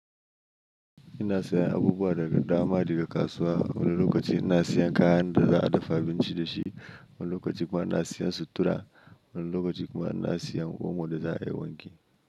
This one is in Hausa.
Ina sayan abubuwa daga dama, daga kasuwa. Wani lokaci ina sayan kayan da za a dafa abinci da shi, wani lokaci kuma ina sayan sutura, wani lokaci kuma ina sayan omo da za a yi wanki.